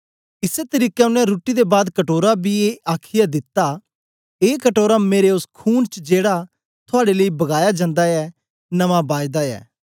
इसै तरीके ओनें रुट्टी दे बाद कटोरा बी ए आखीयै दिता ए कटोरा मेरे ओस खून च जेड़ा थुआड़े लेई बगाया जंदा ऐ नमां बायदा ऐ